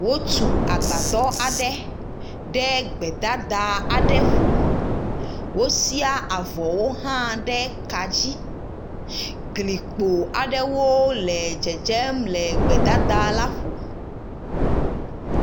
Wotu agbadɔ aɖe ɖe gbedada aɖe ƒo, wosia avɔwo hã ɖe ka dzi, glikpo aɖewo le dzedzem le gbedada la ƒo.